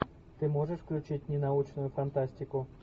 ты можешь включить не научную фантастику